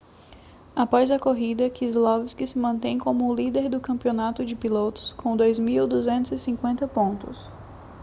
após a corrida keselowski se mantém como o líder do campeonato de pilotos com 2.250 pontos